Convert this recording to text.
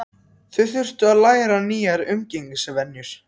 Þau þurftu að læra nýjar umgengnisvenjur.